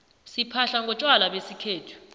siphahla ngontjwala besikhethu